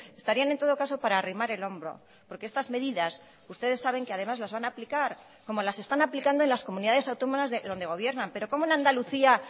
estarían en todo caso para arrimar el hombro porque estas medidas ustedes saben que además las van a aplicar como las están aplicando en las comunidades autónomas donde gobiernan pero cómo en andalucía